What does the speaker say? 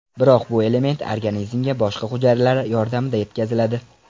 Biroq bu element organizmga boshqa hujayralar yordamida yetkaziladi.